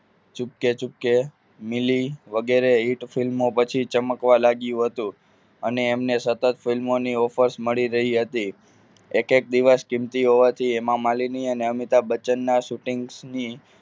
ચુપકે ચુપકે મિલી વગેરે hit film ઓ પછી ચમકવા લાગ્યું હતું અને એમને સતત film ઓ ની offer મળી રહી હતી એક એક દિવસ કીમતી હોવાથી હેમા માલિની અને અમિતાભ બચ્ચન ના shooting ની